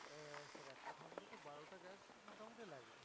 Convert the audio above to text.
মোটামুটি লাগে